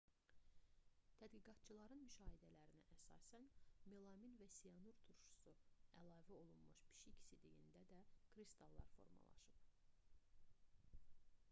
tədqiqatçıların müşahidələrinə əsasən melamin və siyanur turşusu əlavə olunmuş pişik sidiyində da kristallar formalaşıb